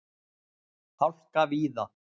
Hálka víða